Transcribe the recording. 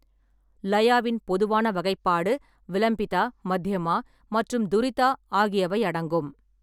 லயாவின் பொதுவான வகைப்பாடு விலம்பிதா, மத்யமா மற்றும் துரிதா ஆகியவை அடங்கும்.